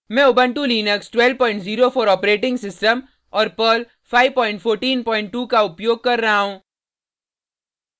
मैं Ubuntu Linux 1204 operating system और Perl 5142 का उपयोग कर रहा हूँ